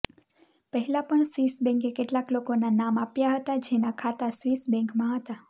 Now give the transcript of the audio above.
પહેલા પણ સ્વિસ બેન્કે કેટલાક લોકોના નામ આપ્યા હતા જેના ખાતા સ્વિસ બેંકમાં હતા